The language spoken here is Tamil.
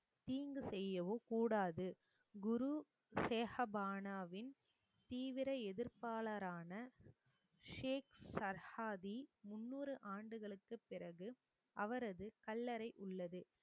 தீங்கு செய்யவோ கூடாது குருசெஹபானவின் தீவிர எதிர்ப்பாளரான ஷேக் சர்காதி முன்னூறு ஆண்டுகளுக்குப் பிறகு அவரது கல்லறை உள்ளது